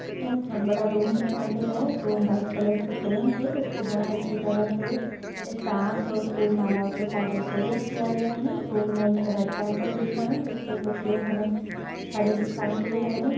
इसमें एक बहुत बड़ा रूम दिखाई दे रहा है रूम वाइट कलर से पेंट है इसको बहुत अच्छी तरह से स्टार्स और फूल-मालाओं के साथ डेकोरेट किया गया है रूम में एक रेड कारपेट बिछा है जिसपे कुछ लोग हमे खड़े दिखाई दे रहे हैं।